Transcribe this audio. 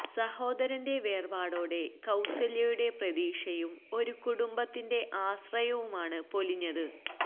സഹോദരന്റെ വേര്പാടോടെ കൌസല്യയുടെ പ്രതീക്ഷയും ഒരു കുടുംബത്തിന്റെ ആശ്രയവുമാണ് പൊലിഞ്ഞത്